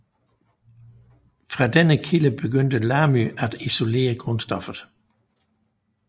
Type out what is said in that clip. Fra denne kilde begyndte Lamy at isolere grundstoffet